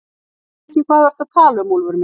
Ég veit ekki hvað þú ert að tala um, Úlfur minn.